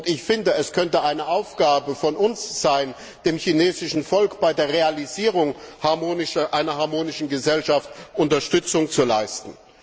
Ich finde, es könnte eine Aufgabe für uns sein, dem chinesischen Volk bei der Realisierung einer harmonischen Gesellschaft Unterstützung zu leisten.